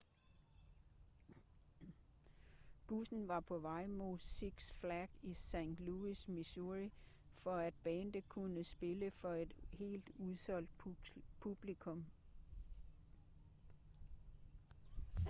bussen var på vej mod six flags i st louis missouri for at bandet kunne spille for et helt udsolgt publikum